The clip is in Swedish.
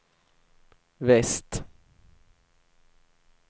väst